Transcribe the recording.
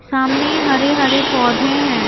सामने हरे-हरे पौधे हैं।